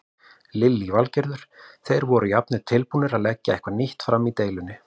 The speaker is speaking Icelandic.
Lillý Valgerður: Þeir voru jafnvel tilbúnir að leggja eitthvað nýtt fram í deilunni?